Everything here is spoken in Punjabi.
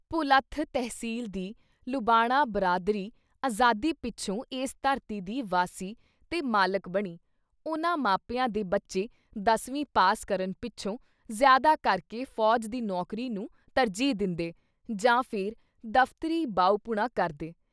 ਭੁਲੱਥ ਤਹਿਸੀਲ ਦੀ ਲੁਬਾਣਾ ਬਰਾਦਰੀ ਆਜ਼ਾਦੀ ਪਿੱਛੋਂ ਇਸ ਧਰਤੀ ਦੀ ਵਾਸੀ ਤੇ ਮਾਲਿਕ ਬਣੀ, ਉਨ੍ਹਾਂ ਮਾਪਿਆਂ ਦੇ ਬੱਚੇ ਦਸਵੀਂ ਪਾਸ ਕਰਨ ਪਿੱਛੋਂ ਜ਼ਿਆਦਾ ਕਰਕੇ ਫੌਜ ਦੀ ਨੌਕਰੀ ਨੂੰ ਤਰਜੀਹ ਦਿੰਦੇ ਜਾਂ ਫਿਰ ਦਫ਼ਤਰੀ ਬਾਊਪੁਣਾ ਕਰਦੇ।